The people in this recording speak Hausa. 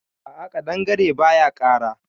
A'a kaɗangare baya kara.